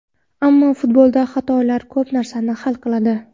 Ammo futbolda xatolar ko‘p narsani hal qiladi”.